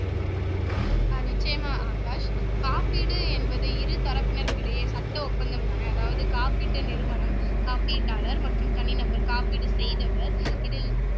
ஆஹ் நிச்சயமா ஆகாஷ் காப்பீடு என்பது இரு தரப்பினருக்கிடையே சட்ட ஒப்பந்தம்தானே அதாவது காப்பீட்டு நிறுவனம் காப்பீட்டாளர் மற்றும் தனிநபர் காப்பீடு செய்தவர் இதில்